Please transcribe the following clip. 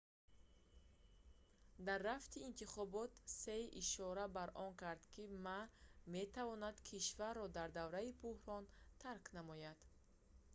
дар рафти интихобот ҳсие ишора ба он кард ки ма метавонад кишварро дар давраи буҳрон тарк намояд